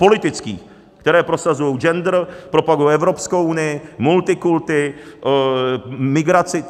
Politických, které prosazuji gender, propagují Evropskou unii, multikulti, migraci.